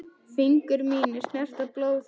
Fingur mínir snerta blóð þitt.